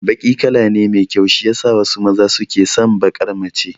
Baki kala ne mai kyau shiyasa wasu maza suke son baƙar mace